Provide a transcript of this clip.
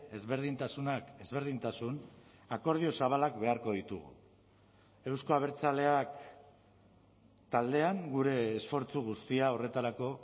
ezberdintasunak ezberdintasun akordio zabalak beharko ditugu euzko abertzaleak taldean gure esfortzu guztia horretarako